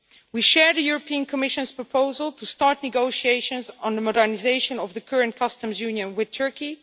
We support the Commission's proposal to start negotiations on the modernisation of the current customs union with Turkey.